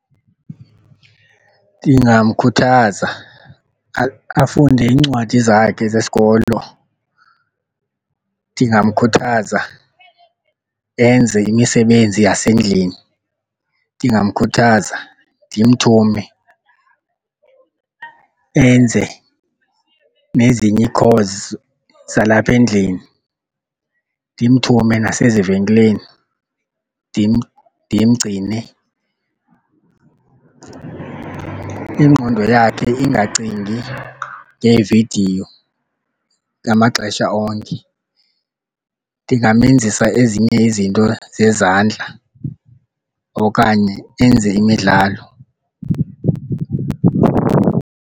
Ndingamkhuthaza afunde iincwadi zakhe zesikolo. Ndingamkhuthaza enze imisebenzi yasendlini. Ndingamkhuthaza ndimthume enze nezinye ii-chores zalapha endlini, ndimthume nasezivenkileni ndimgcine iingqondo yakhe ingacingi ngeevidiyo ngamaxesha onke. Ndingamenzisa ezinye izinto zezandla okanye enze imidlalo.